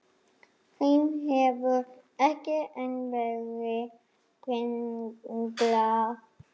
Þeim hefur ekki enn verið brenglað.